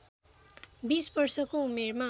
२० वर्षको उमेरमा